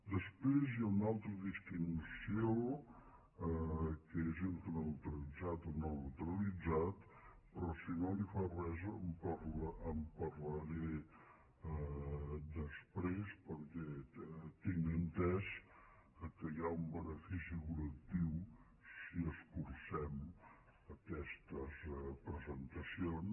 després hi ha una altra distinció que és entre el neu·tralitzat i no neutralitzat però si no li fa res en par·laré després perquè tinc entès que hi ha un benefici col·lectiu si escurcem aquestes presentacions